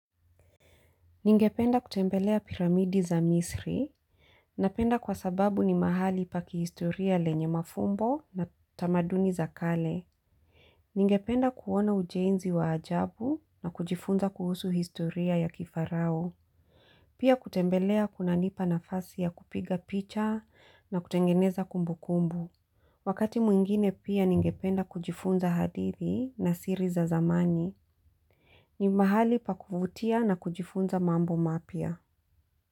Ningependa kutembelea piramidi za Misri. Napenda kwa sababu ni mahali pa kihistoria lenye mafumbo na tamaduni za kale. Ningependa kuona ujenzi wa ajabu na kujifunza kuhusu historia ya kifarao. Pia kutembelea kunanipa nafasi ya kupiga picha na kutengeneza kumbu kumbu. Wakati mwingine pia ningependa kujifunza hadiri na siri za zamani. Ni mahali pakuvutia na kujifunza mambo mapya.